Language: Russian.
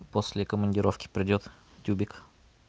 после командировки придёт тюбик